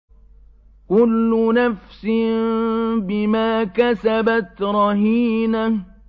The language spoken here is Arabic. كُلُّ نَفْسٍ بِمَا كَسَبَتْ رَهِينَةٌ